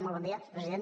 molt bon dia president